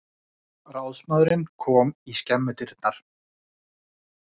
Ráðsmaðurinn kom í skemmudyrnar.